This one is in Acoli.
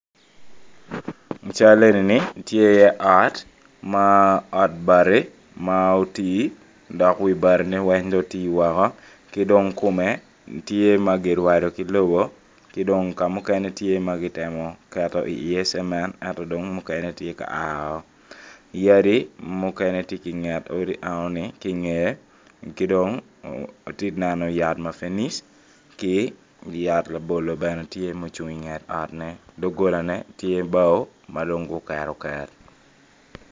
I cal enini ot ma ot bati ma oti dok wi batine weng dong oti woko ki dong kome tye ma kirwado ki lobo ki dong ka mukene tye ma kitemo ki iye cemen ento dong mukene tye ka ao yadi mukene tye inget odi enoni ki ongeye ki dong ati neno yat mapenic ki yat labolo bene tye ma ocung inget otne dogolane tye bao ma dong guketoket.